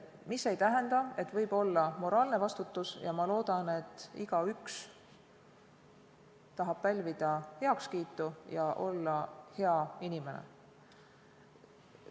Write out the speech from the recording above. See ei tähenda, et ei või olla moraalset vastutust, ja ma loodan, et igaüks tahab pälvida heakskiitu ja olla hea inimene.